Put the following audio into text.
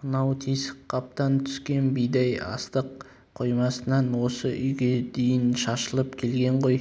мынау тесік қаптан түскен бидай астық қоймасынан осы үйге дейін шашылып келген ғой